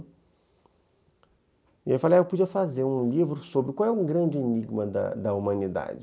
E aí eu falei, eu podia fazer um livro sobre qual é o grande enigma da da humanidade.